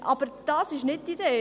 Aber das ist nicht die Idee.